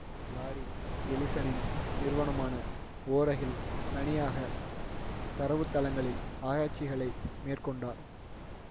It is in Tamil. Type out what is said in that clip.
லாரி எலிசனின் நிறுவனமான ஓரகில் தனியாக தரவுத்தளங்களில் ஆராய்ச்சிகளை மேற்கொண்டார்